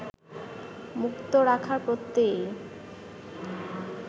মুক্ত রাখার প্রত্যয়েই